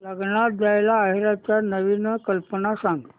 लग्नात द्यायला आहेराच्या नवीन कल्पना सांग